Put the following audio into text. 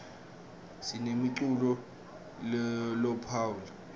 sinemculo lophoule